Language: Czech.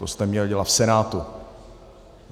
To jste měl dělat v Senátu.